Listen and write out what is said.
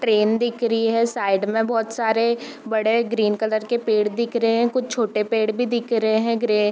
train दिख रही है साइड में बहोत सारे बड़े ग्रीन कलर के पेड़ दिख रहे हैं कुछ छोटे पेड़ भी दिख रहे हैं ग्रे --